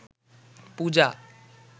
পূজা